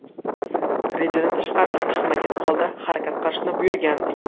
Rejadan tashqariga chiqmagan holda harakat qilishni buyurgandik.